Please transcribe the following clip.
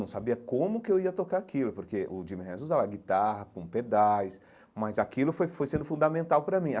Eu não sabia como que eu ia tocar aquilo, porque o Jimi Hendrix usava guitarra com pedais, mas aquilo foi foi sendo fundamental para mim.